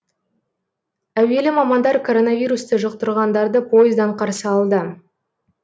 әуелі мамандар коронавирусты жұқтырғандарды пойыздан қарсы алды